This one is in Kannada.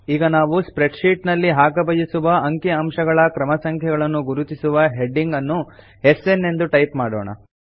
ಈಗ ನಾವು ಸ್ಪ್ರೆಡ್ ಶೀಟ್ ನಲ್ಲಿ ಹಾಕಬಯಸುವ ಅಂಕಿ ಅಂಶಗಳ ಕ್ರಮ ಸಂಖ್ಯೆಗಳನ್ನು ಗುರುತಿಸುವ ಹೆಡಿಂಗ್ ಅನ್ನು ಎಸ್ಎನ್ ಎಂದು ಟೈಪ್ ಮಾಡೋಣ